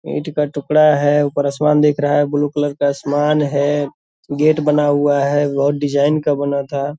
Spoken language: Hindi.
ईट का टुकड़ा है ऊपर आसमान दिख रहा है ब्लू कलर का आसमान है गेट बना हुआ है और डिज़ाइन का बना था।